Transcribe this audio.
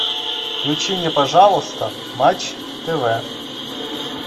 включи мне пожалуйста матч тв